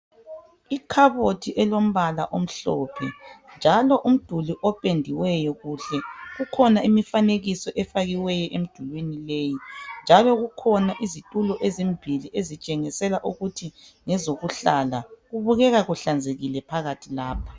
Ikhabothi elombala omhlophe njalo umduli opendiweyo kuhle. Kukhona imifanekiso efakiweyo emidulini leyi njalo kukhona izitulo ezimbili ezitshengisela ukuthi ngezokuhlala. Kubukeka kuhlanzekile phakathi lapha.